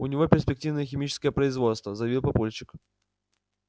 у него перспективное химическое производство заявил папульчик